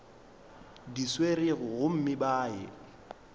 di swerego gomme ba ye